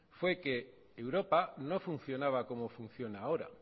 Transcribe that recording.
fue que europa no funcionaba como funciona ahora